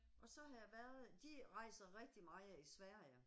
Og så har jeg været, de rejser rigtig meget i Sverige